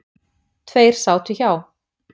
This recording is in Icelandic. Tveir sátu hjá